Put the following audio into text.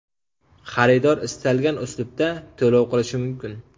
Xaridor istalgan uslubda to‘lov qilishi mumkin.